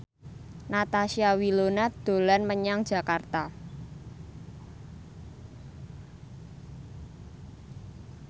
Natasha Wilona dolan menyang Jakarta